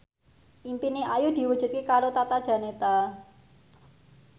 impine Ayu diwujudke karo Tata Janeta